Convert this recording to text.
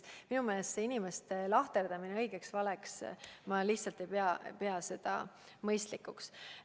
Minu meelest see inimeste lahterdamine õigeteks ja valedeks – ma lihtsalt ei pea seda mõistlikuks.